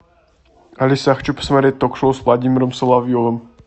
алиса я хочу посмотреть ток шоу с владимиром соловьевым